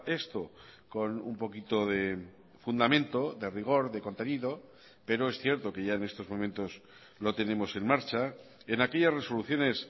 esto con un poquito de fundamento de rigor de contenido pero es cierto que ya en estos momentos lo tenemos en marcha en aquellas resoluciones